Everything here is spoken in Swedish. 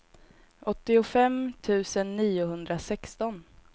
åttiofem tusen niohundrasexton